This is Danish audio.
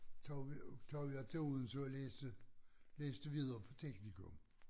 Tog vi tog jeg til Odense og læste læste videre på teknikum